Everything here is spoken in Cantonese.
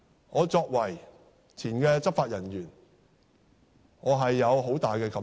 我作為前執法人員，有很大感受。